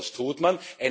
Und was tut man?